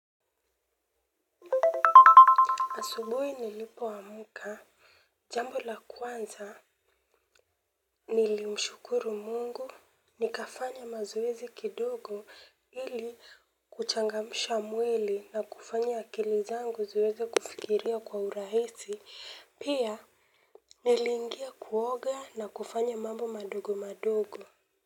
Asubui nilipoamka, jambo la kwanza nilimshukuru mungu, nikafanya mazoezi kidogo ili kuchangamsha mwili na kufanya akili zangu ziweze kufikiria kwa urahisi, pia niliingia kuoga na kufanya mambo madogo madogo.